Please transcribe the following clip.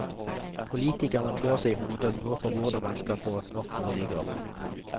Politikerne klør seg i hodet og lurer på hvordan man skal få nok boliger.